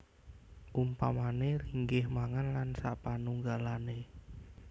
Umpamané linggih mangan lan sapanunggalané